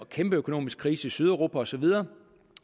kæmpe økonomisk krise i sydeuropa og så videre og